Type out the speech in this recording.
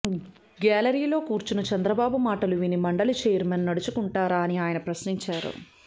గ్యాలరీలో కూర్చున్న చంద్రబాబు మాటలు విని మండలి ఛైర్మన్ నడుచుకుంటారా అని ఆయన ప్రశ్నించారు